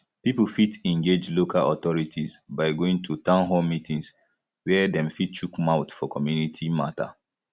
pipo fit engage local authorities by going to town hall meetings where dem fit chook mouth for community matter